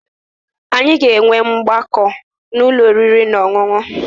Anyị ga-enwe ọgbakọ n'ụlọ oriri na ọṅụṅụ